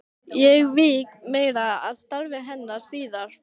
Ég vík meira að starfi hennar síðar.